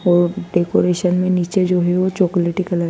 और डेकोरेशन में नीचे जो भी वो चॉकलेटी कलर --